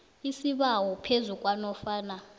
isibawo phezu kwanofana